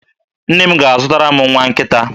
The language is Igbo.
Nne m ga-azụtara m nwa nkịta.